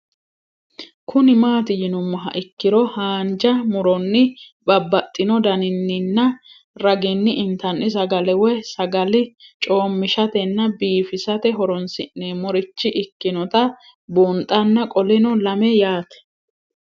Kuni mati yinumoha ikiro hanja muroni babaxino daninina ragini intani sagale woyi sagali comishatenna bifisate horonsine'morich ikinota bunxana qoleno lame yaate